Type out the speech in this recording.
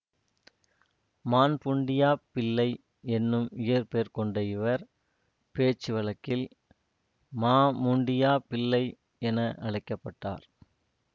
மான்பூண்டியாப் பிள்ளை என்னும் இயற்பெயர் கொண்ட இவர் பேச்சு வழக்கில் மாமுண்டியா பிள்ளை என அழைக்க பட்டார்